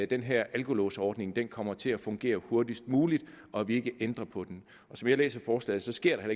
den her alkolåsordning kommer til at fungere hurtigst muligt og at vi ikke ændrer på den som jeg læser forslaget så sker der